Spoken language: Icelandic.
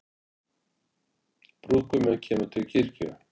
Brúðguminn kemur til kirkju